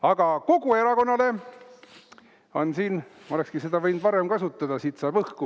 Aga kogu erakonnale on siin, ma oleksingi seda võinud varemgi kasutada, siit saab õhku.